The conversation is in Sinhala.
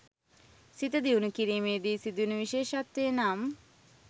සිත දියුණු කිරීමේදී සිදුවන විශේෂත්වය නම්